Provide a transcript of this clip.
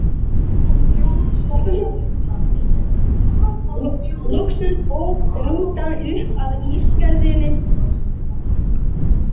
Er hún ein af þeim?